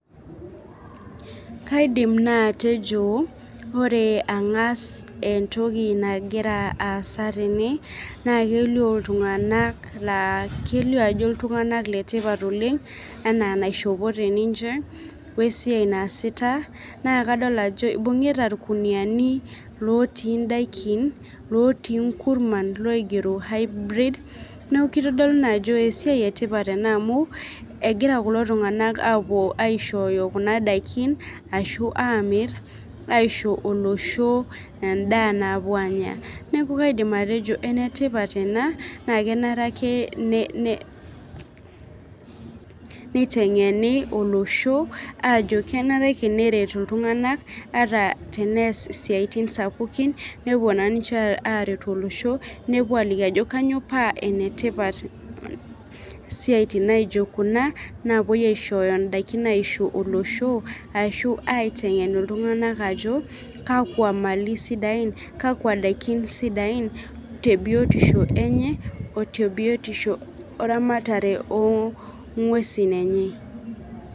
Kaidim naa atejo ore ang'as entoki nagira aasa tene naa kelio iltung'anak laa kelio ajo iltung'anak letipat oleng enaa enaishopote ninche wesiai naasita naa kadol ajo ibung'ita irkuniani lotii indaikin lotii inkurman naigero hybrid neku kitodolu naa ajo esiai etipat ena amu egira kulo tung'anak apuo aishooyo kuna daikin ashu amirr aisho olosho endaa napuo aanya neku kaidim atejo enetipat ena naa kenare ake ne ne neiteng'eni olosho ajo kenare ake neret iltung'anak ata tenees isiaitin sapukin nepuo naa ninche aretu olosho nepuo aliki ajo kanyio paa enetipat siaitin naijo kuna napuoi aishooyo indaikin aisho olosho ashu aiteng'en iltung'anak ajo kakwa mali isidain kakwa daikin sidai tebiotisho enye otebiotisho oramatare oo ong'uesin enye.